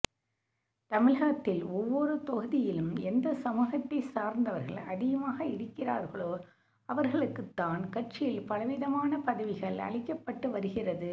தமிழகத்தில் ஒவ்வொரு தொகுதியிலும் எந்த சமூகத்தைச் சார்ந்தவர்கள் அதிகமாக இருக்கிறார்களோ அவர்களுக்கு தான் கட்சியில் பலவிதமான பதவிகள் அளிக்கப்பட்டு வருகிறது